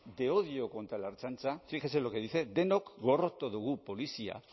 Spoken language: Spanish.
de odio contra la ertzaintza fíjese lo que dice denok gorroto dugu polizia